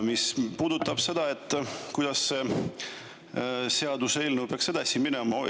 Mis puudutab seda, kuidas seaduseelnõu peaks edasi minema.